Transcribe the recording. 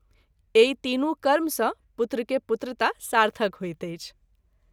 एहि तीनू कर्म सँ पुत्र के पुत्रता सार्थक होइत अछि।